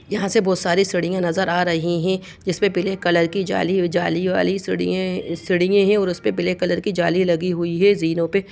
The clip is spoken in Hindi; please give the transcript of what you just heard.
यहाँ से बहोत सारे सीढ़ियां नजर आ रही है जिस पे पीले कलर की जाली जाली वाली सीड़ीए सीड़ीए है और उस पे ब्लैक कलर की जाली लगी हुई है जीनों पे।